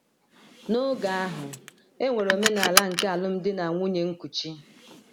N’oge ahụ, e nwere omenala nke alụmdi na nwunye nkuchi.